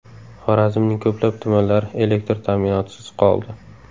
Xorazmning ko‘plab tumanlari elektr ta’minotisiz qoldi.